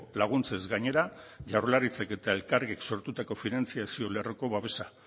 laguntzez gainera jaurlaritzak eta elkargik sortutako finantzazio lerroko babesa